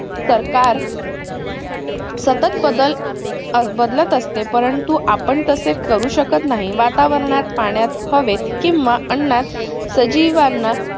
सरकार सतत बदल बदलत असते परंतु आपण तसे करू शकत नाही वातावरणात, पाण्यात, हवेत किंव्हा अन्नात सजीवांना